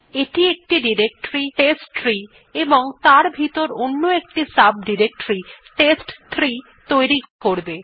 এটি একটি directory test tree এবং তার ভিতর অন্য একটি সাব ডিরেক্টরী টেস্ট3 তৈরি করবে